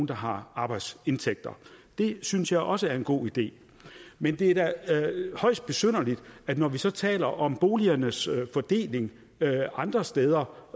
der har arbejdsindtægter det synes jeg også en god idé men det er da højst besynderligt at når vi så taler om boligernes fordeling andre steder